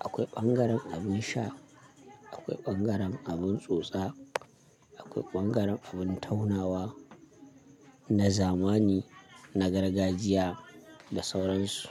Akwai ɓangaren abin sha, akwai ɓangaren abin tsotsa, akwai ɓangaren abin taunawa, na zamani, na gargajiya da sauran su.